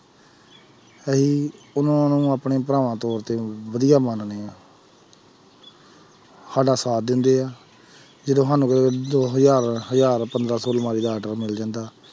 ਅਸੀਂ ਉਹਨਾਂ ਨੂੰ ਆਪਣੇ ਭਰਾਵਾਂ ਤੌਰ ਤੇ ਵਧੀਆ ਮੰਨਦੇ ਹਾਂ ਸਾਡਾ ਸਾਥ ਦਿੰਦੇ ਹੈ, ਜਦੋਂ ਸਾਨੂੰ ਕਿਤੇ ਦੋ ਹਜ਼ਾਰ ਹਜ਼ਾਰ ਪੰਦਰਾਂ ਸੌ ਅਲਮਾਰੀ ਦਾ order ਮਿਲ ਜਾਂਦਾ,